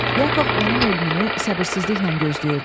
Yakov onun ölümünü səbirsizliklə gözləyirdi.